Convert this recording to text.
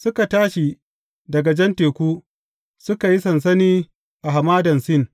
Suka tashi daga Jan Teku, suka yi sansani a Hamadan Sin.